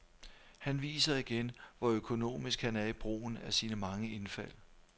Han viser igen, hvor økonomisk han er i brugen af sine mange indfald.